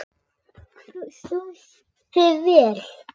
Þú stóðst þig vel.